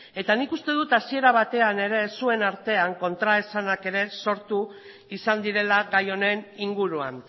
eta nik uste dut hasiera batean ere zuen artean kontraesanak ere sortu izan direla gai honen inguruan